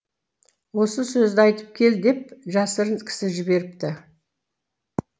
осы сөзді айтып кел деп жасырын кісі жіберіпті